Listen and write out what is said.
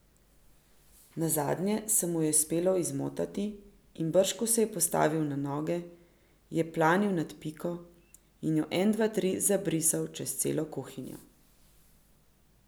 Nazadnje se mu je uspelo izmotati, in brž ko se je postavil na noge, je planil nad Piko in jo en dva tri zabrisal čez celo kuhinjo.